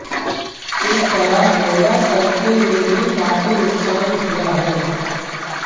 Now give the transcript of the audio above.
इस तरह गौड़ा सर्किल में भी काफी नुकसान हुआ है